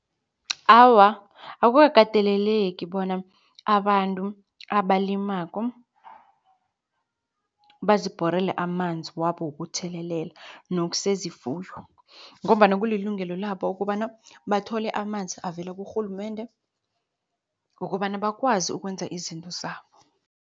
Awa, akukakateleleki bona abantu abalimako bazibhorele amanzi wabo wokuthelelela newokusezifuyo ngombana kulilungelo labo ukobana, bathole amanzi avela kurhulumende ngokobana bakwazi ukwenza izinto zabo.